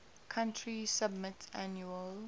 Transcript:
country submit annual